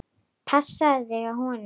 Passaðu þig á honum.